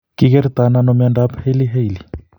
Ki kertonano mnyandoap Hailey Hailey?